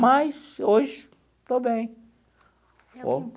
Mas hoje estou bem.